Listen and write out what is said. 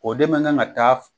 O de mɛ kan ka taa